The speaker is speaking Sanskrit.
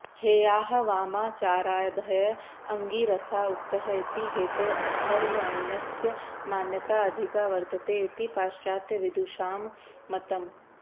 हेयाः वामाचारादयः अङ्गिरसा उक्तः इति हेतोः अथर्वणस्य मान्यता अधिका वर्तते इति पाश्चात्यविदुषां मतम्